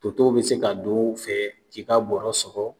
Toto bi se ka don o fɛ k'i ka bɔrɔ sɔgɔ